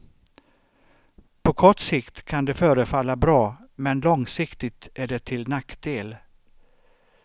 På kort sikt kan det förefalla bra men långsiktigt är det till nackdel.